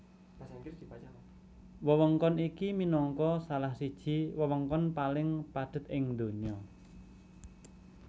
Wewengkon iki minangka salah siji wewengkon paling padhet ing donya